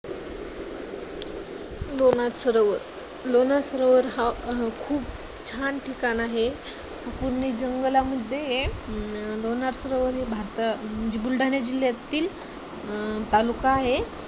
लोणार सरोवर लोणार सरोवर हा खूप छान ठिकाण आहे. पुर्ण जंगला मध्ये लोणार सरोवर हे भारत बुलढाणा जिल्ह्यातील तालुका आहे.